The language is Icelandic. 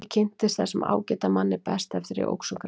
Ég kynntist þessum ágæta manni best eftir að ég óx úr grasi.